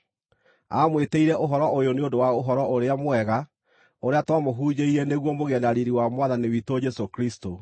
Aamwĩtĩire ũhoro ũyũ nĩ ũndũ wa Ũhoro-ũrĩa-Mwega ũrĩa twamũhunjĩirie nĩguo mũgĩe na riiri wa Mwathani witũ Jesũ Kristũ.